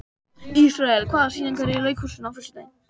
Ísrael, hvaða sýningar eru í leikhúsinu á föstudaginn?